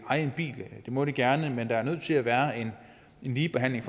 eje en bil det må de gerne men der er nødt til at være en ligebehandling